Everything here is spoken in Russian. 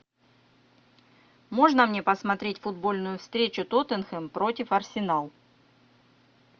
можно мне посмотреть футбольную встречу тоттенхэм против арсенал